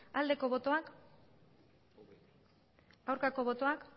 aldeko botoak aurkako botoak